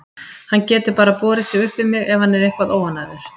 Hann getur bara borið sig upp við mig ef hann er eitthvað óánægður.